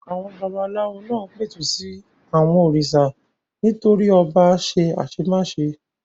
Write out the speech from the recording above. Àwọn babaláwo náà pẹ̀tù sí àwọn òrìṣà nítorí ọba ṣe àṣemáṣe.